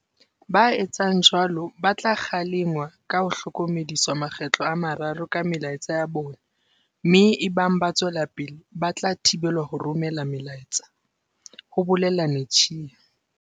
"Ba etsang jwalo ba tla kgalengwa ka ho hlokomediswa makgetlo a mararo ka melaetsa ya bona mme ebang ba tswela pele ba tla thibelwa ho romela melaetsa," ho bolela Netshiya.